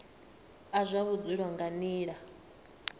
a zwa vhudzulo nga nila